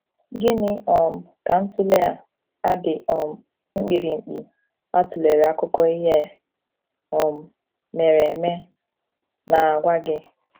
Gịnị um ka ntụle a a dị um mkpirikpi a tụlere akụkọ ihe um mere eme na - agwa gị?